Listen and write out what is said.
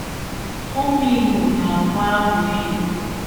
Ụmụ Imo na-agụ abụ enyi.